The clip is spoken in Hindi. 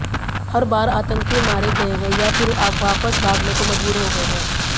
हर बार आतंकी मारे गए हैं या फिर वापस भागने को मजबूर हो गए हैं